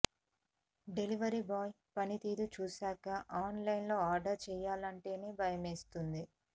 delivery బాయ్ల పని తీరు చూసాక ఆన్లైన్లో ఆర్డర్ చేయాలంటేనే భయమేస్తుంది